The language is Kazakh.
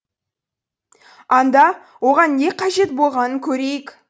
анда оған не қажет болғанын көрейік